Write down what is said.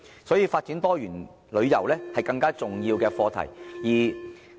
所以，發展多元旅遊是更加重要的課題。